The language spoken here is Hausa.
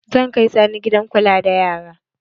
Zan kai Sani gidan kula da yara.